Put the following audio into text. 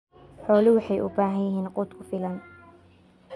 Xooluhu waxay u baahan yihiin quud ku filan.